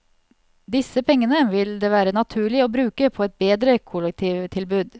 Disse pengene vil det være naturlig å bruke på et bedre kollektivtilbud.